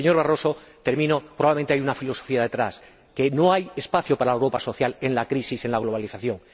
Señor Barroso, probablemente hay una filosofía detrás que no hay espacio para la Europa social en la crisis, en la globalización.